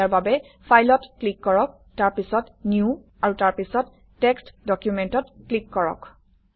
ইয়াৰ বাবে ফাইলত ক্লিক কৰক তাৰপিছত নিউ আৰু তাৰপিছত টেক্সট্ ডকুমেণ্টত ক্লিক কৰক